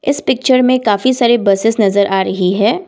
इस पिक्चर में काफी सारे बसेस नजर आ रही है।